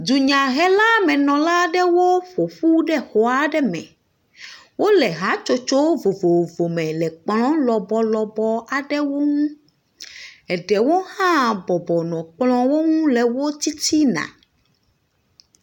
Dunyahelamenɔla ɖewo ƒoƒu ɖe xɔ aɖe me. Wole hatsotso vovovo me le kplɔ lɔbɔlɔbɔ aɖewo ŋu. Eɖewo hã bɔbɔnɔ kplɔwo ŋu le tsitsina.